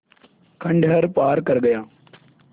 खंडहर पार कर गया